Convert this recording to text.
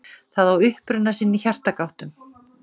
Það á uppruna sinn í hjartagáttum.